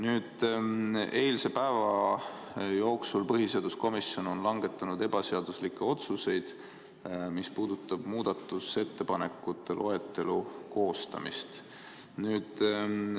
Eilse päeva jooksul on põhiseaduskomisjon langetanud ebaseaduslikke otsuseid, see puudutab muudatusettepanekute loetelu koostamist.